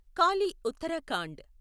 Kali Uttarakhand